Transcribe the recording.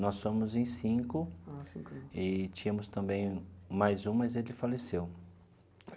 Nós somos em cinco e tínhamos também mais um, mas ele faleceu.